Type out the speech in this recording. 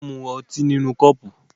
Wọ́n mú tíì nínú kọ́ọ́pù.